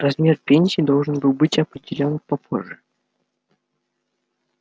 размер пенсии должен был быть определён попозже